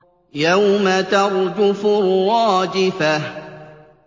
يَوْمَ تَرْجُفُ الرَّاجِفَةُ